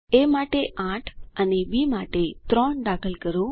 એ માટે 8 અને બી માટે 3 દાખલ કરો